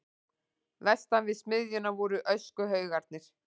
Vestan við smiðjuna voru öskuhaugarnir.